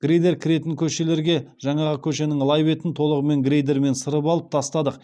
грейдер кіретін көшелерге жаңағы көшенің лай бетін толығымен грейдермен сырып алып тастадық